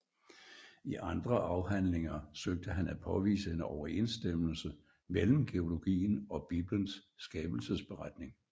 I andre afhandlinger søgte han at påvise en overensstemmelse mellem geologien og Biblens skabelsesberetning